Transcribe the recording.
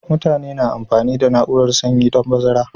Mutane na amfani da na'urar sanyi da bazara.